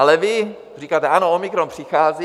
Ale vy říkáte: Ano, omikron přichází.